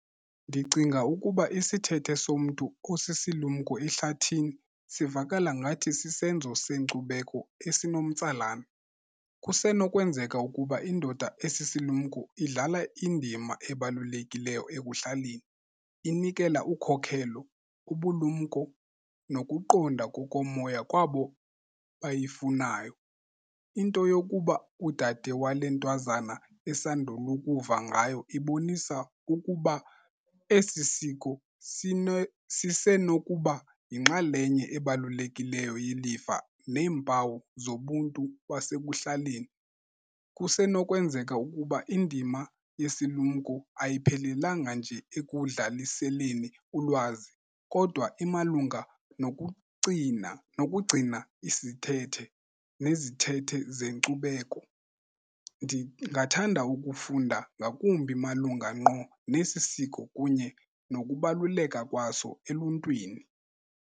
Ndicinga ukuba isithethe somntu osisilumko ehlathini sivakala ngathi sisenzo senkcubeko esinomtsalane. Kusenokwenzeka ukuba indoda esisilumko idlala indima ebalulekileyo ekuhlaleni, inikela ukhokelo kubulumko nokuqonda kokomoya kwabo bayifunayo. Into yokuba udade wale ntwazana esandula ukuva ngayo ibonisa ukuba esi siko sisenokuba yinxalenye ebalulekileyo yelifa neempawu zobuntu kwasekuhlaleni. Kusenokwenzeka ukuba indima yesilumko ayiphelelanga nje ekudlaliseleni ulwazi kodwa imalunga nokucina, nokugcina isithethe nezithethe zenkcubeko. Ndingathanda ukufunda ngakumbi malunga ngqo nesi siko kunye nokubaluleka kwaso eluntwini.